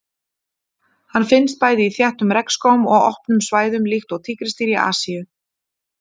Hann finnst bæði í þéttum regnskógum og opnum svæðum líkt og tígrisdýr í Asíu.